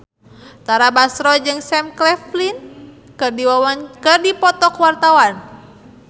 Tara Basro jeung Sam Claflin keur dipoto ku wartawan